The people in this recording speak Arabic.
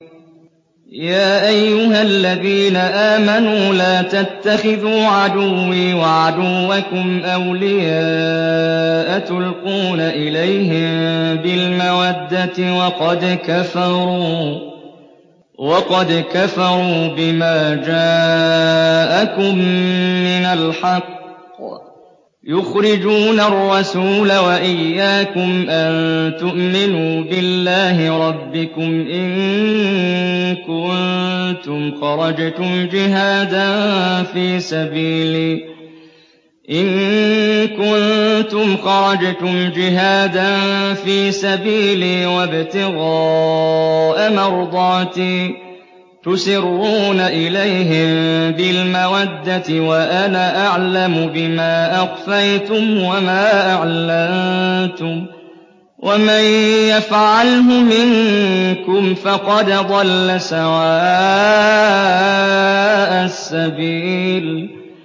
يَا أَيُّهَا الَّذِينَ آمَنُوا لَا تَتَّخِذُوا عَدُوِّي وَعَدُوَّكُمْ أَوْلِيَاءَ تُلْقُونَ إِلَيْهِم بِالْمَوَدَّةِ وَقَدْ كَفَرُوا بِمَا جَاءَكُم مِّنَ الْحَقِّ يُخْرِجُونَ الرَّسُولَ وَإِيَّاكُمْ ۙ أَن تُؤْمِنُوا بِاللَّهِ رَبِّكُمْ إِن كُنتُمْ خَرَجْتُمْ جِهَادًا فِي سَبِيلِي وَابْتِغَاءَ مَرْضَاتِي ۚ تُسِرُّونَ إِلَيْهِم بِالْمَوَدَّةِ وَأَنَا أَعْلَمُ بِمَا أَخْفَيْتُمْ وَمَا أَعْلَنتُمْ ۚ وَمَن يَفْعَلْهُ مِنكُمْ فَقَدْ ضَلَّ سَوَاءَ السَّبِيلِ